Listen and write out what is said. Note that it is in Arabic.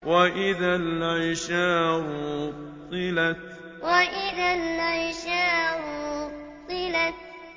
وَإِذَا الْعِشَارُ عُطِّلَتْ وَإِذَا الْعِشَارُ عُطِّلَتْ